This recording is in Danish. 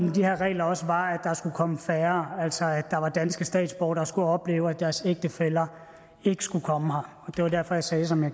med de her regler også var at der skulle komme færre altså at der var danske statsborgere der skulle opleve at deres ægtefæller ikke skulle komme her det var derfor jeg sagde som jeg